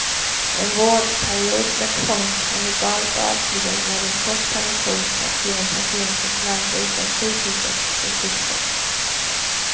En vårdperiod med tvång kan legalt avslutas med en kort permission för att se om patienten klarar sig utan sjukhusets resurser.